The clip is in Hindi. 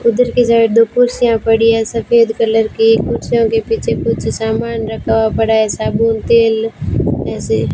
उधर की साइड दो कुर्सियां पड़ी है सफेद कलर की कुर्सियों के पीछे कुछ सामान रखा हुआ पड़ा साबुन तेल ऐसे --